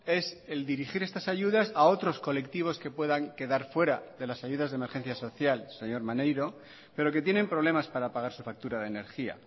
es el dirigir estas ayudas a otros colectivos que puedan quedar fuera de las ayudas de emergencia social señor maneiro pero que tienen problemas para pagar su factura de energía